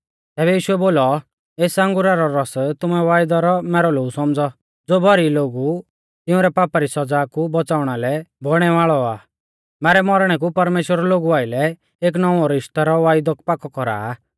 तैबै यीशुऐ बोलौ एस अंगुरा रौ रौस तुमै वायदा रौ मैरौ लोऊ सौमझ़ौ ज़ो भौरी लोगु तिंउरै पापा री सौज़ा कु बौच़ाउणा लै बौइणै वाल़ौ आ मैरै मौरणै कु परमेश्‍वर लोगु आइलै एक नौउंऔ रिश्तै रौ वायदौ पाकौ कौरा आ